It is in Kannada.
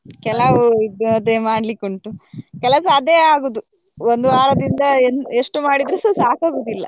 ಕೆಲವು ಇದ್ ಅದೆ ಮಾಡ್ಲಿಕ್ಕೆ ಉಂಟು ಕೆಲಸ ಅದೆ ಆಗುದು ಒಂದು ವಾರದಿಂದ ಎಂತ ಎಷ್ಟು ಮಾಡಿದ್ರೇಸ ಸಾಕಗುದಿಲ್ಲ.